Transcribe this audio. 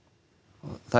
það